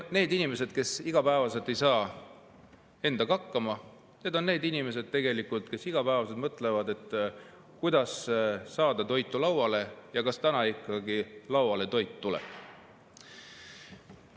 Need on inimesed, kes igapäevaselt ei saa endaga hakkama, need on inimesed, kes iga päev mõtlevad, kuidas saada toit lauale, kas täna ikkagi toit lauale tuleb.